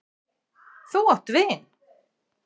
Þú átt vin!